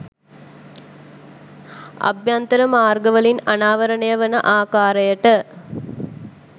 අභ්‍යන්තර මාර්ගවලින් අනාවරණය වන ආකාරයට